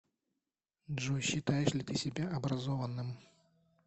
джой считаешь ли ты себя образованным